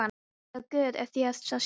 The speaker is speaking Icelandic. Eða guð, ef því er að skipta.